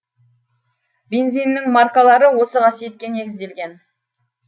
бензиннің маркалары осы қасиетке негізделген